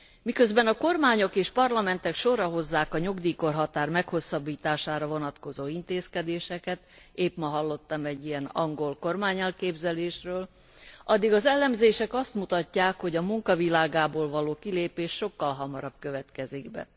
Miközben a kormányok és parlamentek sorra hozzák a nyugdíjkorhatár meghosszabbítására vonatkozó intézkedéseket épp ma hallottam egy ilyen angol kormányelképzelésről addig az elemzések azt mutatják, hogy a munka világából való kilépés sokkal hamarabb következik be.